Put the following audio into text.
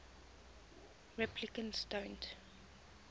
replicants don't